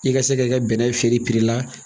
I ka se k'i ka bɛnɛ feere la